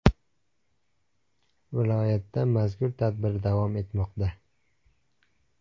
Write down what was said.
Viloyatda mazkur tadbir davom etmoqda.